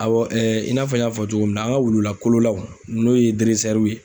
Awɔ ɛɛ i n'a fɔ n y'a fɔ cogo min na, an ka wulu la kololaw n'o ye ye